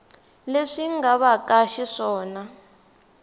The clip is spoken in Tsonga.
leswi nga va ka xiswona